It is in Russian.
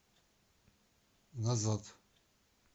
назад